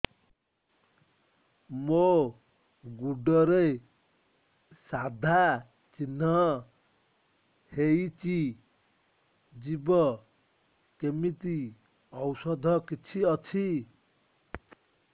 ମୋ ଗୁଡ଼ରେ ସାଧା ଚିହ୍ନ ହେଇଚି ଯିବ କେମିତି ଔଷଧ କିଛି ଅଛି